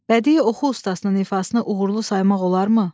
Bədii oxu ustasının ifasını uğurlu saymaq olarmı?